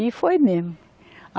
E foi mesmo.